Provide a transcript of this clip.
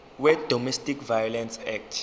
wedomestic violence act